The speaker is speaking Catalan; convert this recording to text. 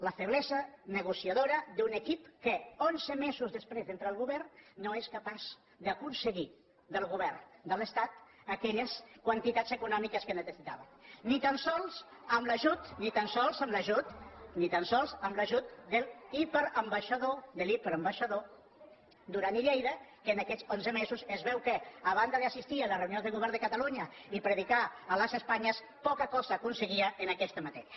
la feblesa negociadora d’un equip que onze mesos després d’entrar al govern no és capaç d’aconseguir del govern de l’estat aquelles quantitats econòmi·ques que necessitava ni tan sols amb l’ajut ni tan sols amb l’ajut ni tan sols amb l’ajut de l’hiperambaixador de l’hiperambaixador duran i lleida que en aquests onze mesos es veu que a banda d’as sistir a les reunions del govern de catalunya i pre·dicar a les espanyes poca cosa aconseguia en aquesta matèria